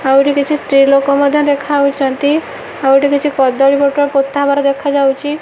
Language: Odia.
ଆହୁରି କିଛି ସ୍ତ୍ରୀ ଲୋକ ମଧ୍ୟ ଦେଖାଯାଉଛନ୍ତି ଆଉ ଗୋଟେ କିଛି କଦଳୀ ପତ୍ର ପୋତା ହେବାର ଦେଖାଯାଉଛି।